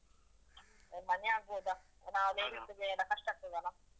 A ಮನೆ ಆಗ್ಬೋದ. ನಾವ್ ladies ಗೆ ಎಲ್ಲ ಕಷ್ಟ ಆಗ್ತದಲ್ಲ?